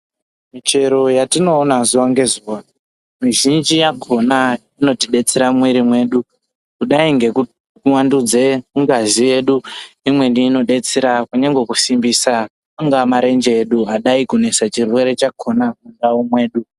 Michero yatinoona zuwa ngezuwa michinji yakona inotidetsera mumwiri wedu kudai ngekuwedzera ngazi Imweni inodetsera kusimbisa angadai marenje ade kuenda mundaraunda yedu.